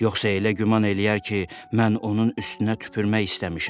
Yoxsa elə güman eləyər ki, mən onun üstünə tüpürmək istəmişəm.